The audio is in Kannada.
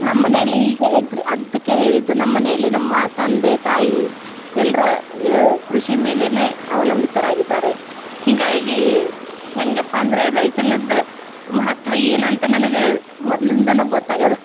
ನಮ್ಮ ಮನೇಲಿ ಈಗ ಅಗ್ರಿ ಅದ್ಕೆ ಹೇಳಿದ್ದು ನಮ್ಮ ಮನೇಲಿ ನಮ್ಮ ತಂದೆ ತಾಯಿ ಎಲ್ರು ಏ ಕೃಷಿ ಮೇಲೇನೆ ಅವಲಂಬಿತರಾಗಿದ್ದಾರೆ. ಹಿಂಗಾಗಿ ಹೆಂಗಪ್ಪಾ ಅಂದ್ರೆ ರೈತನದ್ದ ಮಹತ್ವ ಏನು ಅಂತ ನನಗ ಮೊದಲಿನ್ದಾನು ಗೊತ್ತ ಆಗೇದ.